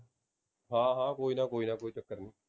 ਹਾਂ ਹਾਂ ਕੋਈ ਨਾ ਕੋਈ ਨਾ ਕੋਈ ਚੱਕਰ ਨੀ